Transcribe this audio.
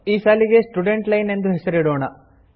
ಈ ಸಾಲಿಗೆ student line ಎಂದು ಹೆಸರಿಸೋಣ